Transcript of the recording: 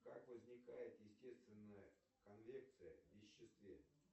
как возникает естественная конвекция в веществе